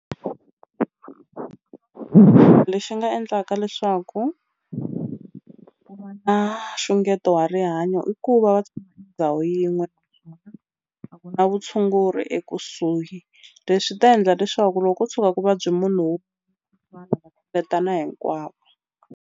Lexi nga endlaka leswaku na xungeto wa rihanyo i ku va ndhawu yin'we a ku na vutshunguri ekusuhi leswi ta endla leswaku loko ko tshuka ku vabye munhu wo hinkwavo.